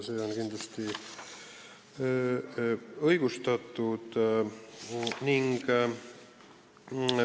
See on kindlasti õigustatud.